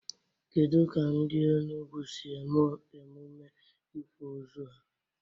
Kedụ ka ndị Enugwu si eme emume ịkwa ozu ha?